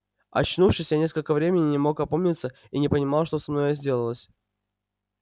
очнувшись я несколько времени не мог опомниться и не понимал что со мною сделалось